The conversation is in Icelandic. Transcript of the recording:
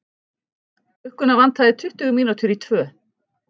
Klukkuna vantaði tuttugu mínútur í tvö.